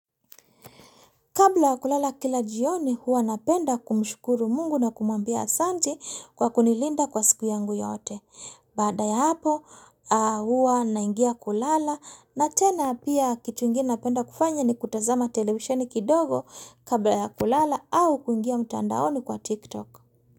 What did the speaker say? Kabla ya kulala kila jioni huwa napenda kumshukuru mungu na kumwambia asanti kwa kunilinda kwa siku yangu yote. Baada ya hapo huwa naingia kulala na tena pia kitu ingine napenda kufanya ni kutazama televisheni kidogo kabla ya kulala au kuingia mtandaoni kwa TikTok.